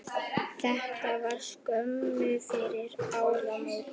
Þetta var skömmu fyrir áramót.